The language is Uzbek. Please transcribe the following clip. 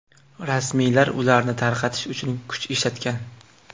Rasmiylar ularni tarqatish uchun kuch ishlatgan.